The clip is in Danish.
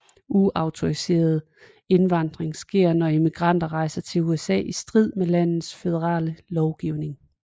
Uautoriseret indvandring sker når immigranter rejser til USA i strid med landets føderale lovgivning